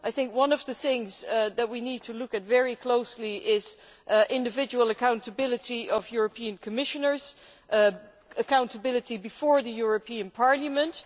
I think one of the things that we need to look at very closely is individual accountability of European Commissioners, accountability before this Parliament.